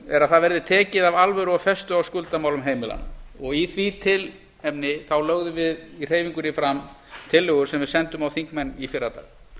er að það verði tekið af alvöru og festu á skuldamálum heimilanna í því tilefni lögðum við í hreyfingunni fram tillögur sem við sendum á þingmenn í fyrradag